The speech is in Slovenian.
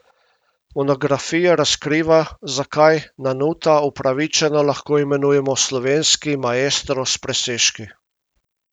Monografija razkriva, zakaj Nanuta upravičeno lahko imenujemo slovenski maestro s presežki.